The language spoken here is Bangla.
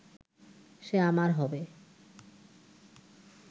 সে আমার হবে